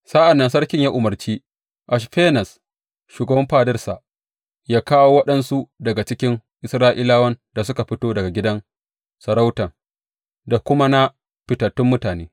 Sa’an nan sarkin ya umarci Ashfenaz, shugaban fadarsa yă kawo waɗansu daga cikin Isra’ilawan da suka fito daga gidan sarauta da kuma na fitattun mutane.